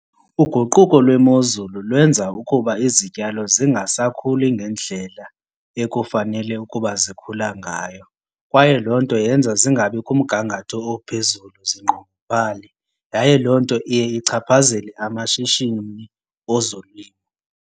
Uguquko lwemozulu lwenza ukuba izityalo zingasakhuli ngendlela ekufanele ukuba zikhula ngayo. Kwaye loo nto yenza zingabi kumgangatho ophezulu, zinqongophale yaye loo nto iye ichaphazele amashishini ezolimo.